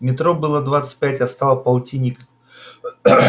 метро было двадцать пять а стало полтинник